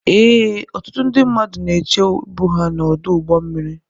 Ee, ọtụtụ ndị mmadụ na-eche ịbụ ha n'ọdụ ụgbọ mmiri.